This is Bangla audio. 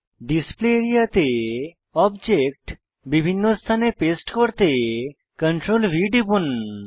ডিসপ্লে আরিয়া তে অবজেক্ট বিভিন্ন স্থানে পেস্ট করতে CTRLV টিপুন